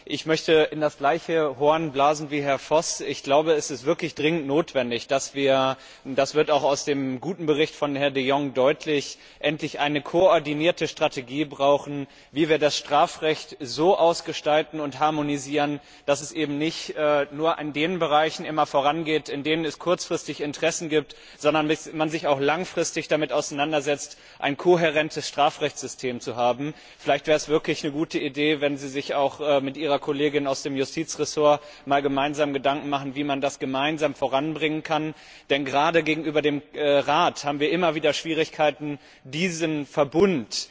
Ich möchte in das gleiche Horn blasen wie Herr Voss. Ich glaube, es ist wirklich dringend notwendig, dass wir das wird auch aus dem guten Bericht von Herrn de Jong deutlich endlich eine koordinierte Strategie brauchen, wie wir das Strafrecht so ausgestalten und harmonisieren, dass es eben nicht nur immer in den Bereichen vorangeht, in denen es kurzfristig Interessen gibt, sondern dass man sich auch langfristig damit auseinandersetzt, ein kohärentes Strafrechtssystem zu haben. Vielleicht wäre es wirklich eine gute Idee, wenn Sie sich auch mit Ihrer Kollegin aus dem Justizressort gemeinsam Gedanken machen, wie man das gemeinsam voranbringen kann, denn gerade gegenüber dem Rat haben wir immer wieder Schwierigkeiten, diesen Verbund